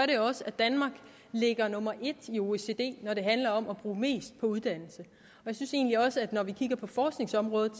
det også at danmark ligger nummer en i oecd når det handler om at bruge mest på uddannelse når vi kigger på forskningsområdet